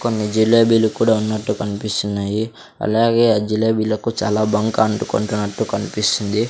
కొన్ని జిలేబీలు కూడా ఉన్నట్టు కనిపిస్తున్నాయి అలాగే ఆ జిలేబిలకు చాలా బంక అంటుకుంటున్నట్టు కనిపిస్తుంది.